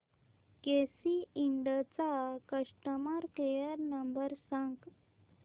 केसी Ind चा customer care number सांग